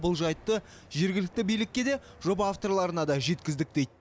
бұл жайтты жергілікті билікке де жоба авторларына да жеткіздік дейді